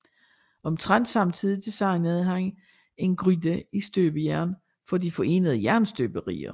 Omtrent samtidig designede han en gryde i støbejern for De Forenede Jernstøberier